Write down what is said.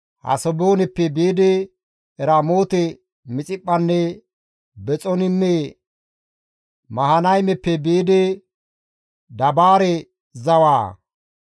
Hasebooneppe biidi Eramoote-Mixiphphanne Bexoniime, Mahanaymeppe biidi Dabaare zawaa,